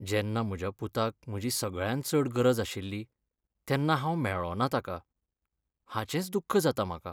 जेन्ना म्हज्या पुताक म्हजी सगळ्यांत चड गरज आशिल्ली तेन्ना हांव मेळ्ळों ना ताका, हाचेंच दुख्ख जाता म्हाका.